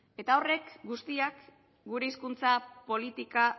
eta horrek guztiak gure hizkuntza politika